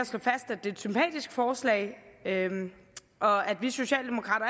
det er et sympatisk forslag og at vi socialdemokrater